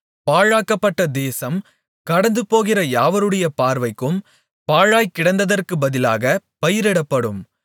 பாழாக்கப்பட்ட தேசம் கடந்துபோகிற யாவருடைய பார்வைக்கும் பாழாய்க்கிடந்ததற்குப் பதிலாக பயிரிடப்படும்